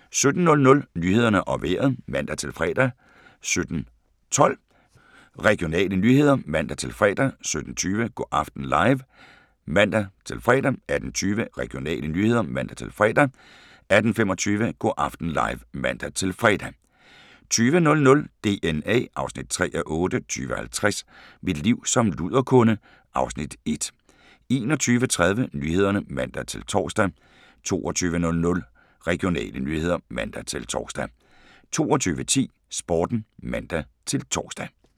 17:00: Nyhederne og Vejret (man-fre) 17:12: Regionale nyheder (man-fre) 17:20: Go' aften live (man-fre) 18:20: Regionale nyheder (man-fre) 18:25: Go' aften live (man-fre) 20:00: DNA (3:8) 20:50: Mit liv som luderkunde (Afs. 1) 21:30: Nyhederne (man-tor) 22:00: Regionale nyheder (man-tor) 22:10: Sporten (man-tor)